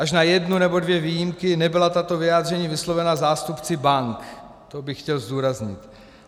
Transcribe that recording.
Až na jednu nebo dvě výjimky nebyla tato vyjádření vyslovena zástupci bank, to bych chtěl zdůraznit.